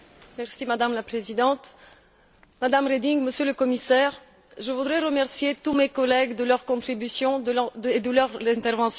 Madame la Présidente, Madame Reding, Monsieur le Commissaire, je voudrais remercier tous mes collègues de leur contribution et de leurs interventions.